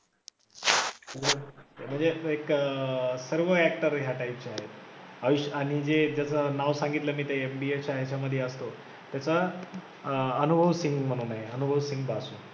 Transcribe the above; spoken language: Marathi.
म्हणजे एक अं सर्व actor ह्या type चे आहेत. आयुष आणि जे ज्याचं नाव सांगितलं मी ते MBF च्या ह्याच्यामधी असतो त्याचं अनुभव सिंघ म्हणून आहे अनुभव सिंघ बस्सी